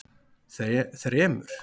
þremur